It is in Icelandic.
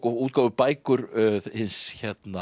og útgáfubækur hins